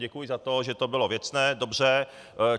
Děkuji za to, že to bylo věcné, dobře.